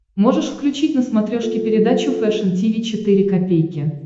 можешь включить на смотрешке передачу фэшн ти ви четыре ка